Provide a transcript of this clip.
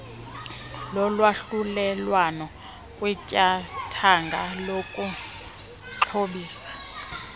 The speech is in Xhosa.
lolwahlulelwano kwityathanga lokuxhobisa